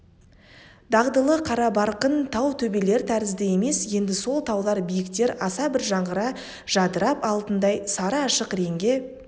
дағдылы қарабарқын тау төбелер тәрізді емес енді сол таулар биіктер аса бір жаңғыра жадырап алтындай сары ашық реңге